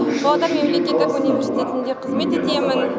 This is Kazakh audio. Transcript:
павлодар мемлекеттік университетінде қызмет етемін